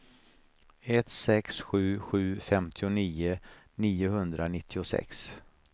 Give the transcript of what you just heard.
ett sex sju sju femtionio niohundranittiosex